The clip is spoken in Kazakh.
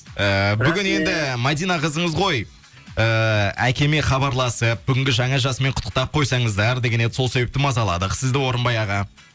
ііі бүгін енді мадина қызыңыз ғой ыыы әкеме хабарласып бүгінгі жаңа жасымен құттықтап қойсаңыздар деген еді сол себепті мазаладық сізді орынбай аға